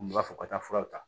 U b'a fɔ ka taa furaw ta